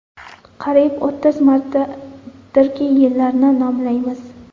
Qariyb o‘ttiz martadirki, yillarni nomlaymiz.